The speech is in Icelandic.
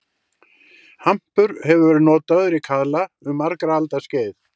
Hampur hefur verið notaður í kaðla um margra alda skeið.